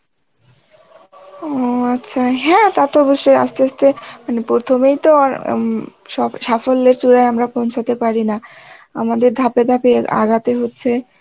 ও আচ্ছা হ্যাঁ তা তো অবশ্যই আস্তে আস্তে মানে প্রথমেই তো আর উম সব সাফল্যের চূড়ায় আমরা পৌঁছাতে পারি না আমাদের ধাপে ধাপে আগাতে হচ্ছে